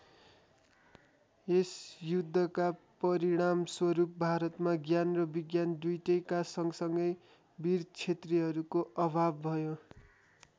यस युद्धका परिणामस्वरूप भारतमा ज्ञान र विज्ञान दुईटैका सँगसँगै वीर क्षेत्रिहरूको अभाव भयो।